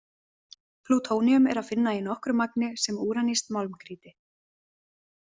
Plútóníum er að finna í nokkru magni sem úranískt málmgrýti.